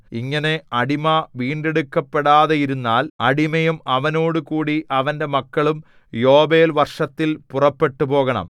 ഇങ്ങനെ അടിമ വീണ്ടെടുക്കപ്പെടാതെയിരുന്നാൽ അടിമയും അവനോടുകൂടി അവന്റെ മക്കളും യോബേൽ വർഷത്തിൽ പുറപ്പെട്ടുപോകണം